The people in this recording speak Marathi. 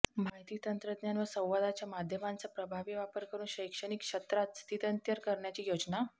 माहिती तंत्रज्ञान व संवादाच्या माध्यमांचा प्रभावी वापर करून शैक्षणिक क्षत्रात स्थित्यंतर करण्याची योजना